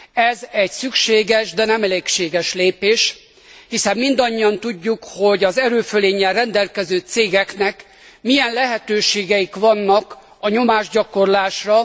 Ez egy szükséges, de nem elégséges lépés, hiszen mindannyian tudjuk, hogy az erőfölénnyel rendelkező cégeknek milyen lehetőségeik vannak a nyomásgyakorlásra.